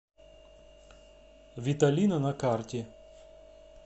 виталина на карте